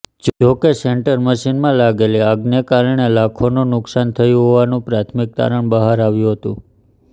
જોકે સેન્ટર મશીનમાં લાગેલી આગને કારણે લાખોનું નુકશાન થયું હોવાનું પ્રાથમિક તારણ બહાર આવ્યું હતું